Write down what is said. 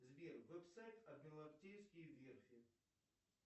сбер веб сайт адмиралтейские верфи